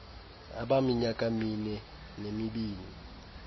abaminyaka mine nemibini